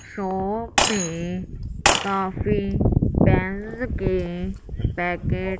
shop में काफी pens के पैकेट --